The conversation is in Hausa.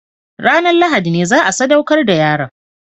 Ranar Lahadi ne za a sadaukar da yaron